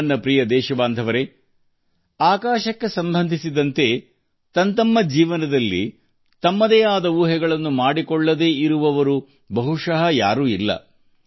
ನನ್ನ ಪ್ರೀತಿಯ ದೇಶವಾಸಿಗಳೇ ಜೀವನದಲ್ಲಿ ಆಕಾಶಕ್ಕೆ ಸಂಬಂಧಿಸಿದ ರಮ್ಯ ಕಥಾನಕಗಳಿಲ್ಲದವರು ಯಾರೂ ಇರಲಿಕ್ಕಿಲ್ಲ